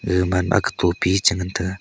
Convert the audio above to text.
ega manma ake tipi a chengan taiga.